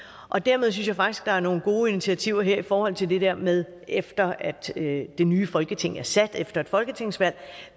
og dermed synes jeg faktisk der er nogle gode initiativer her i forhold til det der med efter at det nye folketing er sat efter et folketingsvalg